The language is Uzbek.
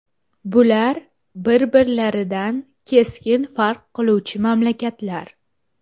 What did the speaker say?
Bular bir-biridan keskin farq qiluvchi mamlakatlar.